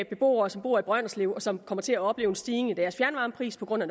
beboere som bor i brønderslev og som kommer til at opleve en stigning i deres fjernvarmepris på grund af